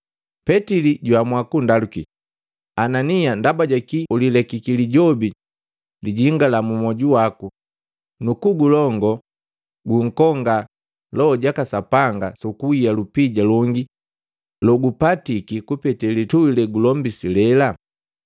Petili jwaamua kundaluki, “Anania ndaba jaki ulilekiki lijobi lijingala mu moju waku nu kugulongo unkonga Loho jaka Sapanga sukuhia lupija longi logupatiki kupete lituhi legulombisi lela?